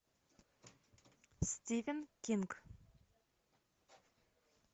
стивен кинг